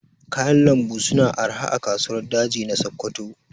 Kayan lambu su na arha a kasuwar daji na Sokoto